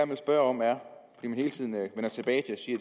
vil spørge om er om man hele tiden vender tilbage